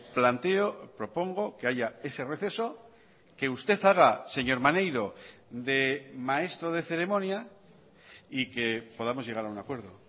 planteo propongo que haya ese receso que usted haga señor maneiro de maestro de ceremonia y que podamos llegar a un acuerdo